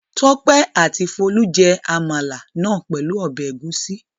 Tọ́pẹ́ àti Folú jẹ àmàlà náà pẹ̀lú ọbẹ̀ ẹ̀gúsí.